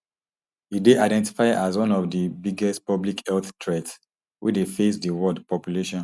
e dey identified as one of di biggest public health threats wey dey face di world population